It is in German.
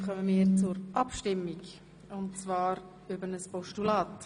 Damit kommen wir zur Abstimmung über ein Postulat.